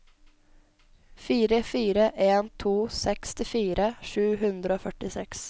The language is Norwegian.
fire fire en to sekstifire sju hundre og førtiseks